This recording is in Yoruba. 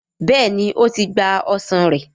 béèni o tí gbà ọsán rẹ.